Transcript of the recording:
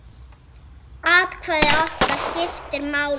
Atkvæði okkar skiptir máli.